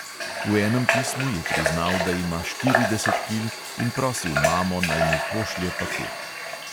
V enem pismu je priznal, da ima štirideset kil, in prosil mamo, naj mu pošlje paket.